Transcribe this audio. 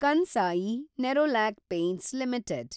Kansai Nerolac Paints limited